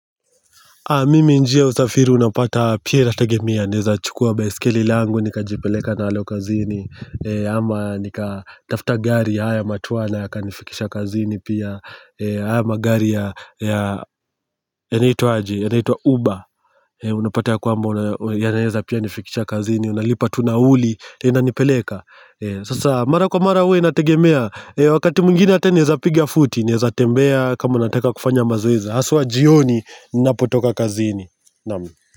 Mimi njia usafiri unapata pia inategemea, naweza chukua baiskeli langu, nika jipeleka nalo kazini, ama nika tafuta gari ya haya matunwa na yaka nifikisha kazini pia, haya magari ya naitwa UBA, unapata ya kwamba ya naeza pia nifikisha kazini, unalipa tu nauli, inanipeleka. Sasa mara kwa mara uwe nategemea. Wakati mungini hata ni za pigia futi. Naweza tembea kama nataka kufanya mazoezi. Aswa jioni ni napotoka kazini nami.